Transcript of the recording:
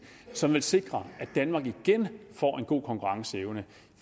som vil sikre at danmark igen får en god konkurrenceevne